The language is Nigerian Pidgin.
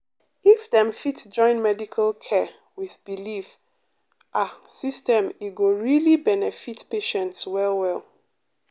if dem fit join medical care with belief ah system e go really benefit patients well well.